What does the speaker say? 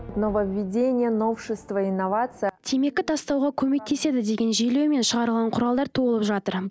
нововведение новшество инновация темекі тастауға көмектеседі деген желеумен шығарған құралдар толып жатыр